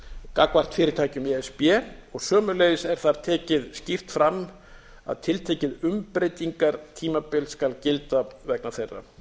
gagnvart fyrirtækjum í e s b sömuleiðis er þar tekið skýrt fram að tiltekið umbreytingartímabil skal gilda vegna þeirra